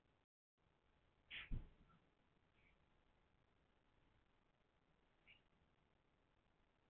Kyrrlát tunglskinsnóttin sytrar inn í mennina sex og konuna sem horfir á þá.